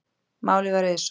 Málið var auðsótt.